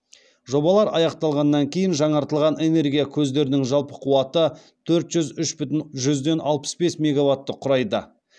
жобалар аяқталғаннан кейін жаңартылған энергия көздерінің жалпы қуаты төрт жүз үш бүтін жүзден алпыс бес мегаватты құрайды